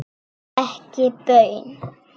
Ekki baun.